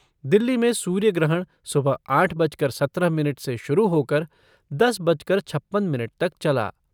दिल्ली में सूर्य ग्रहण सुबह आठ बजकर सत्रह मिनट से शुरू होकर दस बजकर छप्पन मिनट तक चला।